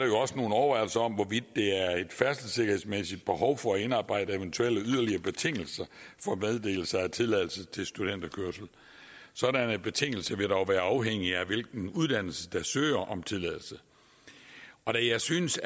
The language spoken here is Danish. jo også nogle overvejelser om hvorvidt der er et færdselssikkerhedsmæssigt behov for at indarbejde eventuelle yderligere betingelser for meddelelser af tilladelser til studenterkørsel sådanne betingelser vil dog være afhængige af hvilken uddannelse der søger om tilladelse da jeg synes